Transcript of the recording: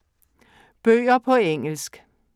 Bøger på engelsk